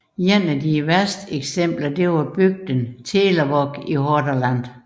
Et af de værste eksempler var bygden Telavåg i Hordaland